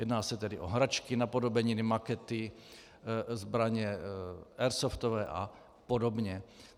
Jedná se tedy o hračky, napodobeniny, makety, zbraně airsoftové a podobně.